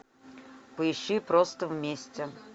поищи просто вместе